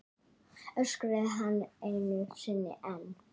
öskraði hann einu sinni enn.